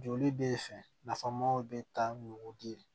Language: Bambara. Joli bɛ fɛ nafamaw bɛ taa n'u den ye